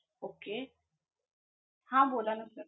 Okay. हां बोला ना sir.